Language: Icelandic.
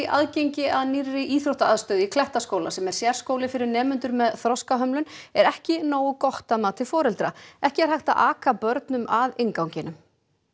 aðgengi að nýrri íþróttaaðstöðu í Klettaskóla sem er sérskóli fyrir nemendur með þroskahömlun er ekki nógu gott að mati foreldra ekki er hægt að aka börnum að innganginum